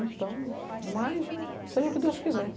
Então, mas, seja o que Deus quiser.